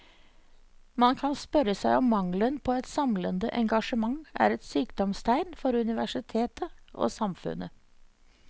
Man kan spørre seg om mangelen på et samlende engasjement er et sykdomstegn for universitet og samfunn.